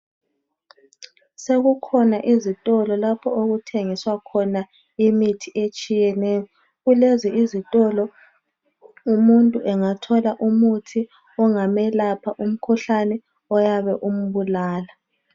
Sekukhona ezitolo lapho okuthengiswa khona imithi etshiyeneyo kulezi izitolo umuntu engathola umuthi ongamelapha umkhuhlane oyabe umbulala.